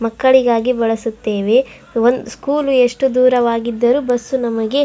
ಮಕ್ಕಳಿಗಾಗಿ ಬಾಲಸುತ್ತೇವೆ. ಒಂದು ಸ್ಕೂಲ್ ಎಷ್ಟು ದೂರವಾಗಿದ್ದರು ಬಸ್ ನಮಗೆ --